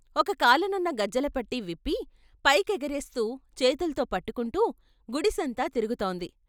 ఒక కాలునున్న గజ్జలపట్టీ విప్పి పై కెగరేస్తూ చేతుల్తో పట్టుకుంటూ గుడిసంతా తిరుగుతోంది.